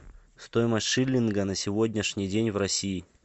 стоимость шиллинга на сегодняшний день в россии